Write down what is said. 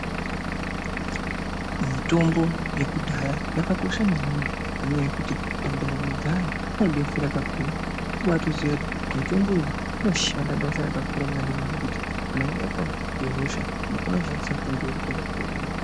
Mitombo yekudhaya yakakosha maningi nenyaya yekuti mundaramo dzevantu inobetsera kakurutu unobawatoziva kuti mutombo iyi inoshanda basa rakakura maningi kana wabatwa ngehosha unokona kushandisa mitombo yekudhaya